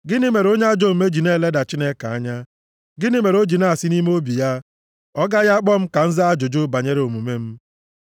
Gịnị mere onye ajọ omume ji na-eleda Chineke anya? Gịnị mere o ji na-asị nʼime obi ya, “Ọ gaghị akpọ m ka m zaa ajụjụ banyere omume m”?